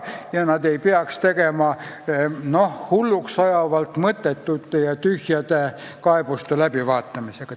Nad ei peaks tegelema hulluks ajavalt mõttetute ja tühjade kaebuste läbivaatamisega.